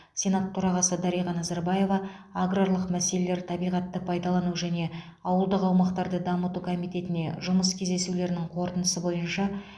сенат төрағасы дариға назарбаева аграрлық мәселелер табиғатты пайдалану және ауылдық аумақтарды дамыту комитетіне жұмыс кездесулерінің қорытындысы бойынша